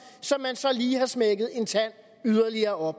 som man så lige har smækket en tand yderligere op